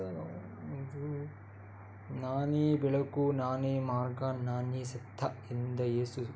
ಇದು ನಾನೇ ಬೆಳಕು ನಾನೇ ಮಾರ್ಗ ನಾನೇ ಸತ್ತ ಎಂದ ಯೇಸು --